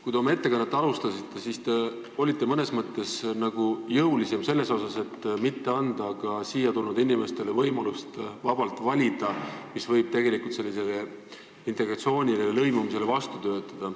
Kui te oma ettekannet alustasite, siis te olite mõnes mõttes justkui jõulisem selles seisukohas, et mitte anda siia tulnud inimestele võimalust vabalt valida, mis võib tegelikult integratsioonile ja lõimumisele vastu töötada.